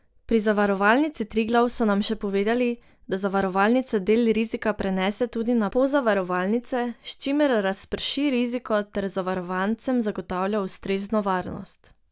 Pri Zavarovalnici Triglav so nam še povedali, da zavarovalnica del rizika prenese tudi na pozavarovalnice, s čimer razprši riziko ter zavarovancem zagotavlja ustrezno varnost.